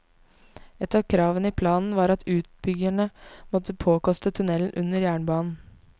Et av kravene i planen var at utbyggerne måtte påkoste tunnel under jernbanen.